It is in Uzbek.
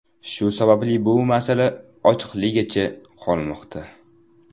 Shu sababli bu masala ochiqligicha qolmoqda.